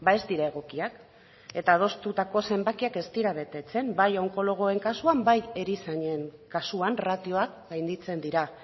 ez dira egokiak eta adostutako zenbakiak ez dira betetzen bai onkologoen kasuan bai erizainen kasuan ratioak gainditzen dira